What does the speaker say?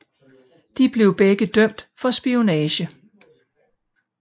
De blev begge dømt for spionage